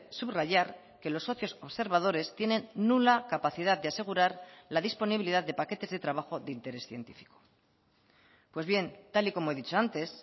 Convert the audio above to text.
subrayar que los socios observadores tienen nula capacidad de asegurar la disponibilidad de paquetes de trabajo de interés científico pues bien tal y como he dicho antes